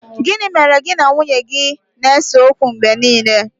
Gini mere gi na nwunye gi na-ese okwu mgbe nile